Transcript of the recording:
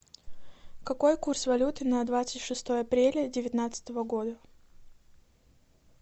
какой курс валюты на двадцать шестое апреля девятнадцатого года